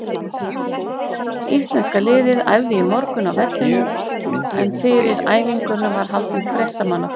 Íslenska liðið æfði í morgun á vellinum en fyrir æfinguna var haldinn fréttamannafundur.